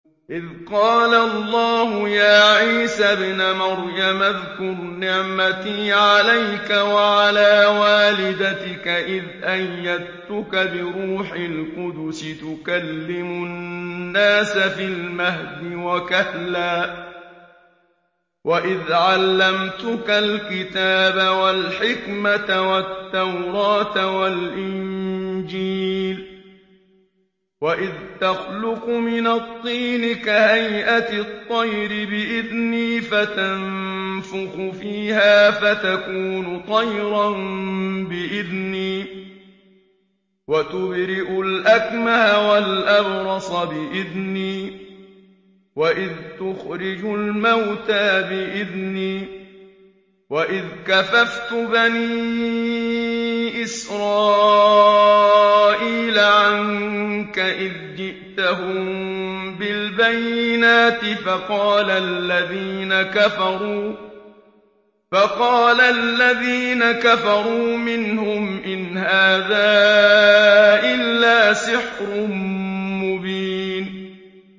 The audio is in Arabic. إِذْ قَالَ اللَّهُ يَا عِيسَى ابْنَ مَرْيَمَ اذْكُرْ نِعْمَتِي عَلَيْكَ وَعَلَىٰ وَالِدَتِكَ إِذْ أَيَّدتُّكَ بِرُوحِ الْقُدُسِ تُكَلِّمُ النَّاسَ فِي الْمَهْدِ وَكَهْلًا ۖ وَإِذْ عَلَّمْتُكَ الْكِتَابَ وَالْحِكْمَةَ وَالتَّوْرَاةَ وَالْإِنجِيلَ ۖ وَإِذْ تَخْلُقُ مِنَ الطِّينِ كَهَيْئَةِ الطَّيْرِ بِإِذْنِي فَتَنفُخُ فِيهَا فَتَكُونُ طَيْرًا بِإِذْنِي ۖ وَتُبْرِئُ الْأَكْمَهَ وَالْأَبْرَصَ بِإِذْنِي ۖ وَإِذْ تُخْرِجُ الْمَوْتَىٰ بِإِذْنِي ۖ وَإِذْ كَفَفْتُ بَنِي إِسْرَائِيلَ عَنكَ إِذْ جِئْتَهُم بِالْبَيِّنَاتِ فَقَالَ الَّذِينَ كَفَرُوا مِنْهُمْ إِنْ هَٰذَا إِلَّا سِحْرٌ مُّبِينٌ